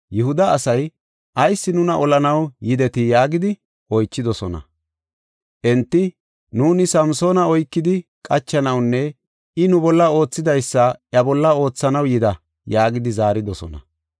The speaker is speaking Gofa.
Yihuda asay, “Ayis nuna olanaw yidetii?” yaagidi oychidosona. Enti, “Nuuni Samsoona oykidi qachanawunne I nu bolla oothidaysada iya bolla oothanaw yida” yaagidi zaaridosona.